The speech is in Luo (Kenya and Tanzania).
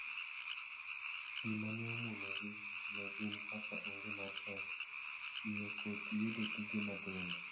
Gima ne omono gi ne gin kaka onge mar pesa, iye kod yudo tije matindo.